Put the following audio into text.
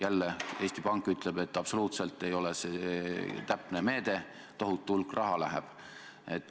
Jälle, Eesti Pank ütleb, et see ei ole absoluutselt täpne meede, tohutu hulk raha läheb.